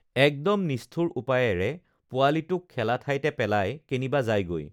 একদম নিষ্ঠুৰ উপায়েৰে পোৱালীটোক খেলা ঠাইতে পেলাই কেনিবা যায়গৈ